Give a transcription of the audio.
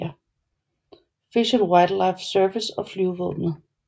Fish and Wildlife Service og flyvevåbenet